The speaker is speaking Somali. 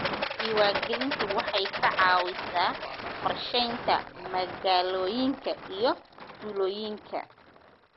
Diiwaangelintu waxay ka caawisaa qorsheynta magaalooyinka iyo tuulooyinka.